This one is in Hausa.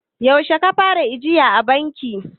yaushe ka fara ajiya a banki?